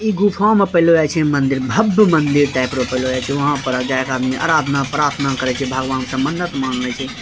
इ गुफा में पहलो लागे छै मंदिर भव्य मंदिर टाइप वहां पर जाके आदमी आराधना प्रार्थना करय छै भगवान से मन्नत मांगे छै।